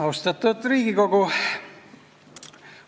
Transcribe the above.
Austatud Riigikogu!